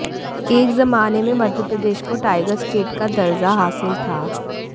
एक जमाने में मध्यप्रदेश को टाइगर स्टेट का दर्जा हासिल था